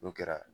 N'o kɛra